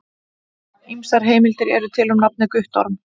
Ýmsar heimildir eru til um nafnið Guttorm.